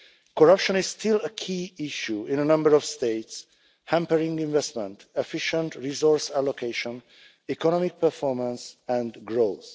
Corruption is still a key issue in a number of states, hampering investment, efficient resource allocation, economic performance and growth.